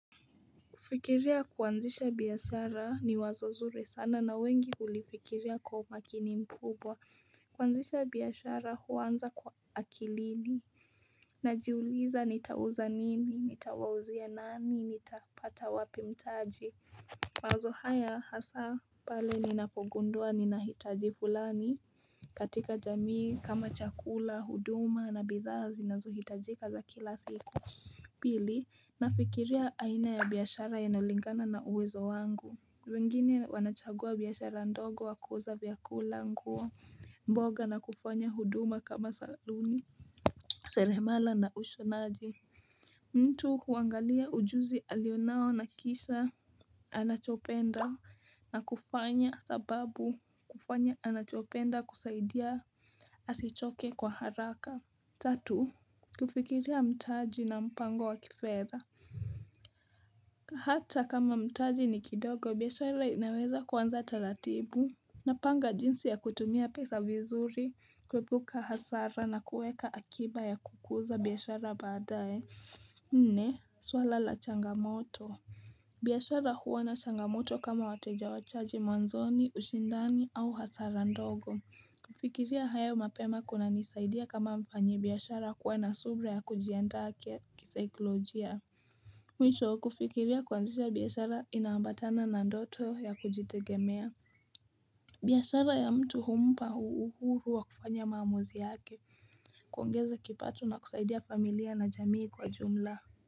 Kufikiria kuanzisha biashara ni wazo zuri sana na wengi hulifikiria kwa umakini mkubwa kuanzisha biashara huanza kwa akilini Najiuliza nitauza nini, nitawauzia nani, nitapata wapi mtaji mawazo haya hasa pale ninapogundua ninahitaji fulani katika jamii kama chakula, huduma na bidhaazi nazohitajika za kila siku Pili nafikiria aina ya biashara yanayolingana na uwezo wangu wengine wanachagua biashara ndogo wa kuuza vyakula nguo mboga na kufanya huduma kama saluni Sere mala na usho naji mtu huangalia ujuzi alionao na kisha anachopenda na kufanya sababu kufanya anachopenda kusaidia asichoke kwa haraka Tatu, kufikiria mtaji na mpango wa kifeza Hata kama mtaji ni kidogo, biashara inaweza kuanza taratibu Napanga jinsi ya kutumia pesa vizuri, kuepuka hasara na kuweka akiba ya kukuza biashara badae Nne, swala la changamoto biashara huwa na changamoto kama wateja wachache mwanzoni, ushindani au hasara ndogo kufikiria hayo mapema kuna nisaidia kama mfanyi biashara kuwa na subra ya kujiandaa kisaikolojia Mwisho kufikiria kuanzisha biashara inaambatana na ndoto ya kujitegemea biashara ya mtu humpa uhuru wa kufanya maamuzi yake kuongeza kipato na kusaidia familia na jamii kwa jumla.